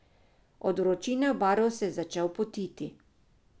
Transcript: Od vročine v baru se je začel potiti.